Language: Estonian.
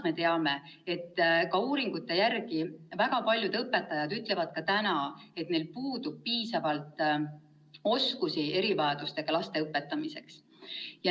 Me teame, et uuringute järgi ütlevad väga paljud õpetajad, et neil puuduvad piisavad oskused erivajadustega laste õpetamiseks.